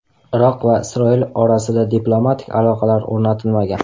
Iroq va Isroil orasida diplomatik aloqalar o‘rnatilmagan.